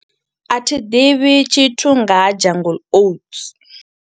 A thi ḓivhi tshithu nga ha Jungle Oats.